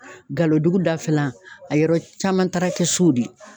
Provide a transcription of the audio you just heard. Galo dugu dafalan a yɔrɔ caman taara kɛ so de ye